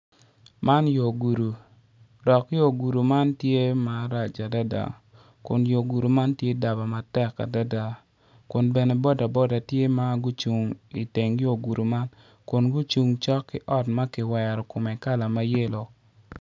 Man yo gudo dok yo gudi man tye marac adada kun yo gudi man tye daba matek adada kun bene boda boda tye ma gucung iteng yo gudo man kun gucung cok ki ot ma kiwero kome kala ma yelo.